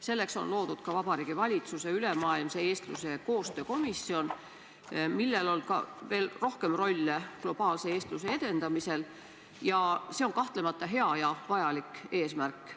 Selleks on loodud ka Vabariigi Valitsuse ülemaailmse eestluse koostöö komisjon, millel on ka rohkem rolle globaalse eestluse edendamisel, ja see on kahtlemata hea ja vajalik eesmärk.